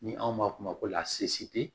Ni anw ma f'o ma ko